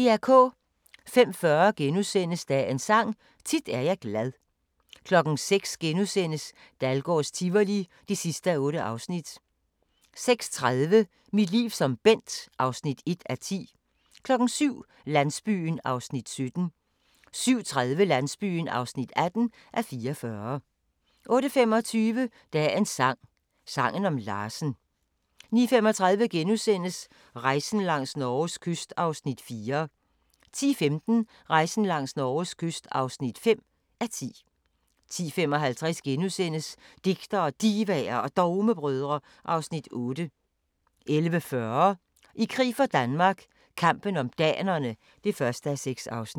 05:40: Dagens Sang: Tit er jeg glad * 06:00: Dahlgårds Tivoli (8:8)* 06:30: Mit liv som Bent (1:10) 07:00: Landsbyen (17:44) 07:30: Landsbyen (18:44) 08:25: Dagens sang: Sangen om Larsen 09:35: Rejsen langs Norges kyst (4:10)* 10:15: Rejsen langs Norges kyst (5:10) 10:55: Digtere, Divaer og Dogmebrødre (Afs. 8)* 11:40: I krig for Danmark - kampen om danerne (1:6)